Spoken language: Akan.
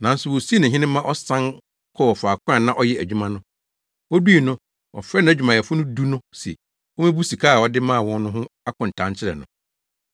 “Nanso wosii no hene ma ɔsan kɔɔ faako a na ɔyɛ adwuma no. Odui no, ɔfrɛɛ nʼadwumayɛfo du no se, wommebu sika a ɔde maa wɔn no ho akontaa nkyerɛ no.